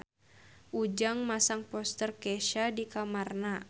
Ujang masang poster Kesha di kamarna